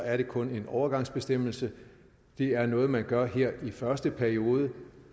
er det kun en overgangsbestemmelse det er noget man gør her i første periode